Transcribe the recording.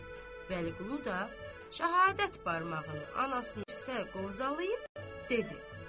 Vəliqulu da şəhadət barmağını anasının püstə qovzalayıb dedi: